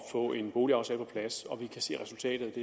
få en boligaftale på plads og vi kan se resultatet